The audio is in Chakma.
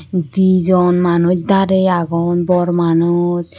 Di jon manuch darey agon bor manuch.